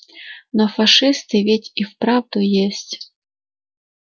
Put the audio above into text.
но фашисты ведь и вправду есть